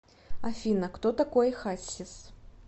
афина кто такой хассис